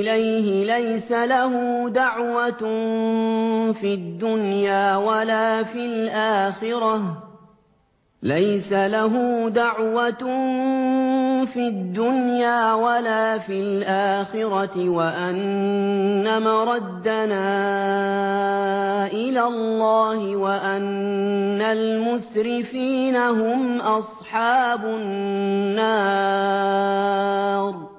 إِلَيْهِ لَيْسَ لَهُ دَعْوَةٌ فِي الدُّنْيَا وَلَا فِي الْآخِرَةِ وَأَنَّ مَرَدَّنَا إِلَى اللَّهِ وَأَنَّ الْمُسْرِفِينَ هُمْ أَصْحَابُ النَّارِ